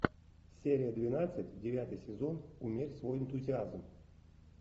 серия двенадцать девятый сезон умерь свой энтузиазм